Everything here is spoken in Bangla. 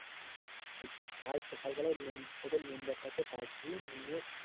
বলছি কাল সকাল বেলায় তোদের বলছি কাল সকাল বেলায় তোদের মেম্বারটাকে ডাকবি নিয়ে টা কে ডাকবি নিয়ে